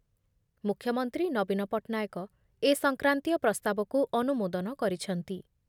ମୁଖ୍ୟମନ୍ତ୍ରୀ ନବୀନ ପଟ୍ଟନାୟକ ଏ ସଂକ୍ରାନ୍ତୀୟ ପ୍ରସ୍ତାବକୁ ଅନୁମୋଦନ କରିଛନ୍ତି ।